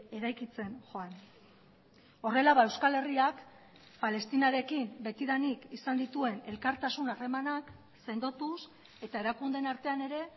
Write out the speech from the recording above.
eraikitzen joan horrela euskal herriak palestinarekin betidanik izan dituen elkartasun harremanak sendotuz eta erakundeen artean ere